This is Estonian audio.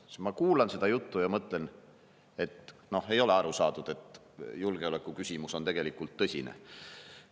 Siis ma kuulan seda juttu ja mõtlen: no ei ole aru saadud, et julgeolekuküsimus on tegelikult tõsine.